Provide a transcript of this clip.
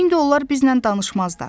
İndi onlar bizlə danışmazlar.